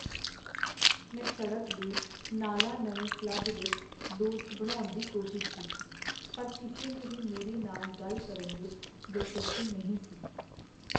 ਮੈਂ ਸੜਕ ਦੇ ਨਾਲਾਂ ਨਵੇਂ ਕਲੱਬ ਵਿੱਚ ਦੋਸਤ ਬਣਾਉਣ ਦੀ ਕੋਸ਼ਿਸ਼ ਕੀਤੀ, ਪਰ ਕਿਸੇ ਨੂੰ ਵੀ ਮੇਰੇ ਨਾਲ ਗੱਲ ਕਰਨ ਵਿੱਚ ਦਿਲਚਸਪੀ ਨਹੀਂ ਸੀ।